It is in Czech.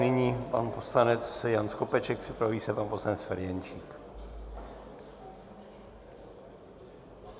Nyní pan poslanec Jan Skopeček, připraví se pan poslanec Ferjenčík.